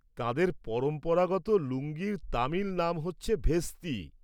তাঁদের পরম্পরাগত লুঙ্গির তামিল নাম হচ্ছে ভেস্তি।